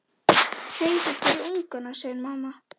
Hreiður fyrir ungana, segir mamma.